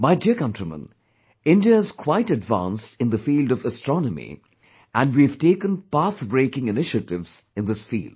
My dear countrymen, India is quite advanced in the field of astronomy, and we have taken pathbreaking initiatives in this field